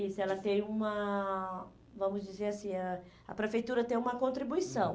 Isso, ela tem uma, vamos dizer assim, ãh a prefeitura tem uma contribuição.